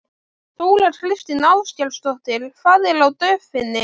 Þóra Kristín Ásgeirsdóttir: Hvað er á döfinni?